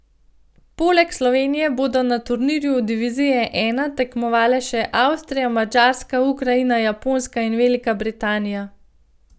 Poleg Slovenije bodo na turnirju divizije I tekmovale še Avstrija, Madžarska, Ukrajina, Japonska in Velika Britanija.